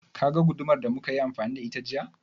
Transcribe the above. Ka ga gudumar da muka yi amfani da ita jiya?